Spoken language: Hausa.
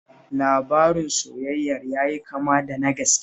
Labarin soyayyar ya yi kama da na gaske